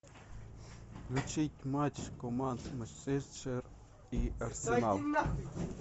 включить матч команд манчестер и арсенал